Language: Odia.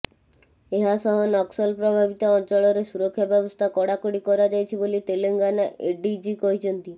ଏହା ସହ ନକ୍ସଲ ପ୍ରଭାବିତ ଅଞ୍ଚଳରେ ସୁରକ୍ଷା ବ୍ୟବସ୍ଥା କଡାକଡି କରାଯାଇଛି ବୋଲି ତେଲେଙ୍ଗାନା ଏଡିଜି କହିଛନ୍ତି